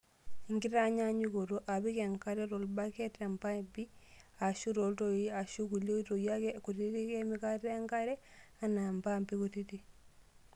Tenkitanyaanyukoto, apik enkare tolbaket, tempapi, aashu tooltoii aashu kulie otoi ake kutitik emikata enkare anaa mpaampi kutitk.